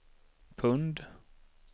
pund